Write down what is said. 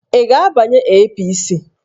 Ị ga-abanye APC!